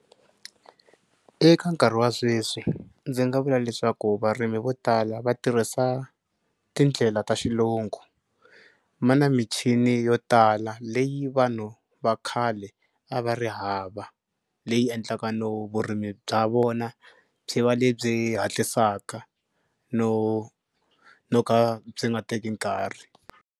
Eka nkarhi wa sweswi ndzi nga vula leswaku varimi vo tala va tirhisa tindlela ta xilungu. Ma na michini yo tala leyi vanhu va khale a va ri hava leyi endlaka no vurimi bya vona byi va lebyi hatlisaka no no ka byi nga teki nkarhi.